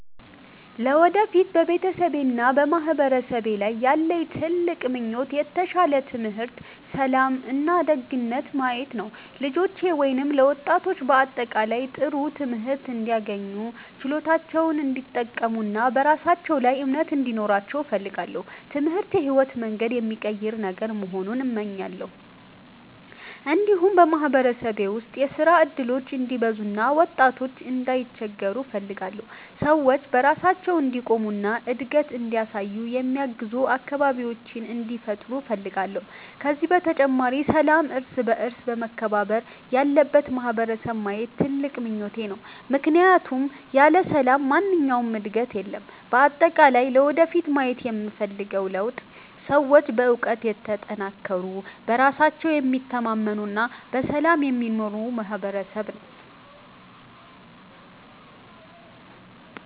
ለወደፊት በቤተሰቤና በማህበረሰቤ ላይ ያለኝ ትልቅ ምኞት የተሻለ ትምህርት፣ ሰላም እና ዕድገት ማየት ነው። ለልጆቼ ወይም ለወጣቶች በአጠቃላይ ጥሩ ትምህርት እንዲያገኙ፣ ችሎታቸውን እንዲጠቀሙ እና በራሳቸው ላይ እምነት እንዲኖራቸው እፈልጋለሁ። ትምህርት የሕይወትን መንገድ የሚቀይር ነገር መሆኑን እመኛለሁ። እንዲሁም በማህበረሰቤ ውስጥ የሥራ እድሎች እንዲበዙ እና ወጣቶች እንዳይቸገሩ እፈልጋለሁ። ሰዎች በራሳቸው እንዲቆሙ እና እድገት እንዲያሳዩ የሚያግዙ አካባቢዎች እንዲፈጠሩ እፈልጋለሁ። ከዚህ በተጨማሪ ሰላምና እርስ በእርስ መከባበር ያለበት ማህበረሰብ ማየት ትልቁ ምኞቴ ነው፣ ምክንያቱም ያለ ሰላም ማንኛውም ዕድገት የለም። በአጠቃላይ ለወደፊት ማየት የምፈልገው ለውጥ ሰዎች በእውቀት የተጠናከሩ፣ በራሳቸው የሚታመኑ እና በሰላም የሚኖሩ ማህበረሰብ መሆን ነው።